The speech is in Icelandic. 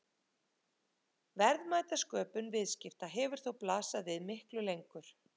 Verðmætasköpun viðskipta hefur þó blasað við miklu lengur.